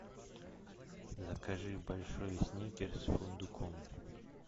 закажи большой сникерс с фундуком